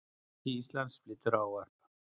Forseti Íslands flytur ávarp.